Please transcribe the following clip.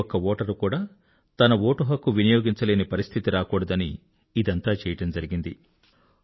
ఏ ఒక్క ఓటరు కూడా తన ఓటుహక్కు వినియోగించలేని పరిస్థితి రాకూడదని ఇదంతా చేయడం జరిగింది